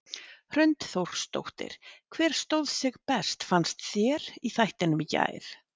Hrund Þórsdóttir: Hver stóð sig best fannst þér í þættinum í gær?